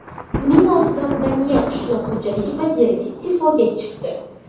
Buning ortidan Daniya qishloq xo‘jaligi vaziri iste’foga chiqdi.